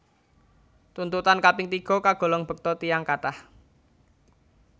Tuntutan kaping tiga kagolong bekta tiyang kathah